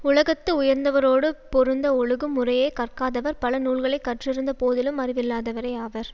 உலகத்து உயர்ந்தவரோடு பொருந்த ஒழுகும் முறையை கற்காதவர் பல நூல்களை கற்றிருந்த போதிலும் அறிவில்லாதவரே ஆவர்